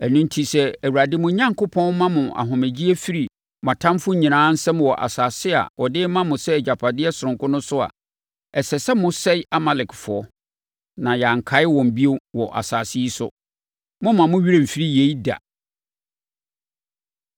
Ɛno enti, sɛ Awurade mo Onyankopɔn ma mo ahomegyeɛ firi mo atamfoɔ nyinaa nsam wɔ asase a ɔde rema mo sɛ agyapadeɛ sononko no so a, ɛsɛ sɛ mosɛe Amalekfoɔ, na yɛankae wɔn bio wɔ asase yi so. Mommma mo werɛ mfiri yei da!